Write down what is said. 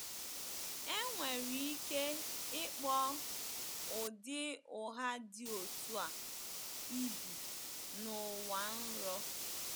Enwere ike ịkpọ ụdị ụgha dị otú a ibi n'ụwa nrọ.